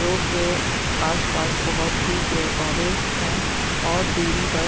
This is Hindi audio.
रोड के आसपास बहुत ही पेड़-पौधे हैं और दूरी पर--